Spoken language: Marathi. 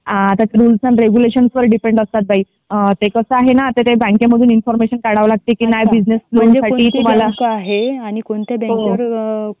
ते रूल्स अँड रेग्युलेशन व डिपेंड असतात बाई ते कसा आहे न बँकेमध्ये आता ते बँकेमधून इन्फॉर्मेशन काढावे लागते की नाही बिझनेस लोन साठी तुम्हाला.